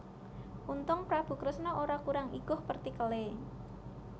Untung Prabu Kresna ora kurang iguh pertikele